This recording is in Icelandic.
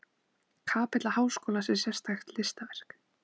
Kapella háskólans er sérstakt listaverk.